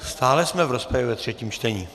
Stále jsme v rozpravě ve třetím čtení.